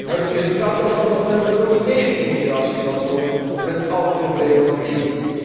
Het resultaat daarvan zal zijn dat er nog meer immigratie zal komen, met alle problemen van dien.